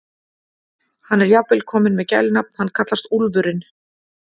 Hann er jafnvel kominn með gælunafn, hann kallast Úlfurinn.